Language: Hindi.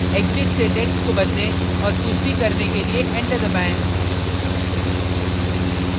exit से text को बदलें और पु्ष्टि करने के लिए enter दबाएँ